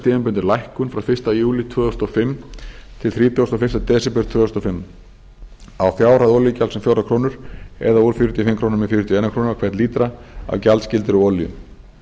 tímabundin lækkun frá fyrsta júlí tvö þúsund og fimm til þrítugasta og fyrsta desember tvö þúsund og fimm á olíugjalds um fjórar krónur eða úr fjörutíu og fimm krónur í fjörutíu og ein króna á hvern lítra af gjaldskyldri olíu